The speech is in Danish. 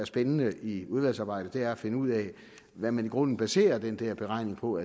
spændende i udvalgsarbejdet er at finde ud af hvad man i grunden baserer den der beregning på